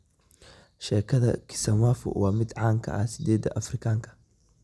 Sheekada kisamvu waa mid caan ka ah8 Afrikaanka.